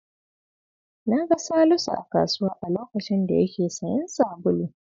Na ga Salisu a kasuwa a lokacin da yake sayen sabulu.